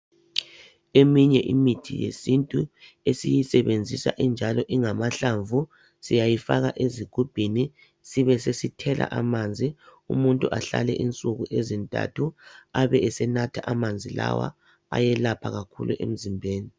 Eminye imithi yesintu esiyisebenzisa injalo ingamahlamvu siyayifaka ezigubhini sibe sesithela amanzi umuntu ahlale insuku ezintathu ebesenatha amanzi lawa ayelapha kakhulu emzimbeni.